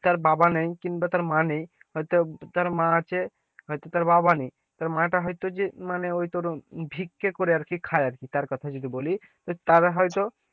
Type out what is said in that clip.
তার বাবা নেই কিংবা তার মা নেই হয়তো তার মা আছে, হয়তো তার বাবা নেই, তার মা টা হয়তো যে মানে ওই তোর ভিক্ষে করে আরকি আর কি খাই আরকি তার কথায় যদি বলি, তারা হয়তো,